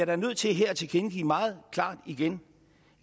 da nødt til her at tilkendegive meget klart igen